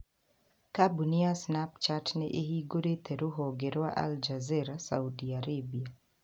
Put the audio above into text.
Kambuni ya Snapchat nĩ ĩhingũrĩte rũhonge rwa Aljazeera Saudi Arabia.